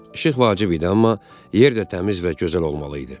İşıq vacib idi, amma yer də təmiz və gözəl olmalı idi.